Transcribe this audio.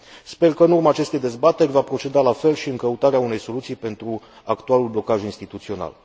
Sper că, în urma acestei dezbateri, va proceda la fel și în căutarea unei soluții pentru actualul blocaj instituțional.